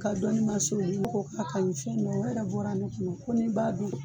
Ka dɔnni ma se o ko k'a ka ɲi fɛn yɛrɛ bɔra ne tun ko ni b'a dun